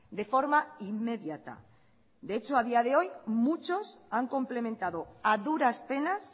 de forma inmediata de hecho a día de hoy muchos han complementado a duras penas